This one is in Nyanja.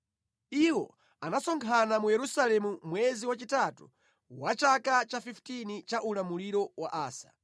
Iwo anasonkhana mu Yerusalemu mwezi wachitatu wa chaka cha 15 cha ulamuliro wa Asa.